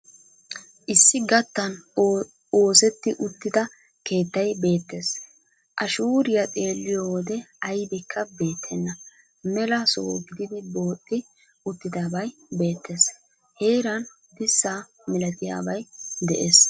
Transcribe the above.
Issi gattan oosetti uttida keettay beettees. A shuuriya xeelliyo wode aybikka beettenna mela soha gididi booxxi uttidabay beettees. Heeran dissa milatiyabay de'ees.